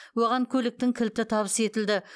оған көліктің кілті табыс етілді